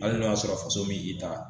Hali n'o y'a sɔrɔ faso m'i ta